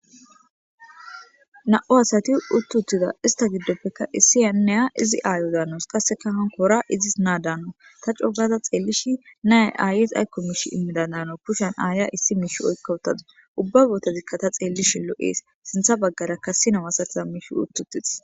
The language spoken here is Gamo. na'u asati uttutida ista giddopfekka issi aneya izi aayo zaanos qasseka hanko ora izis naa daanno ta cogaza xeellishi naya aayis aykko miish immida daano kushan aaya issi miish oykka wutadu ubba bootozikka ta xeellishin lo'ees sintha baggara kassi nao asatiza miish uttuttiis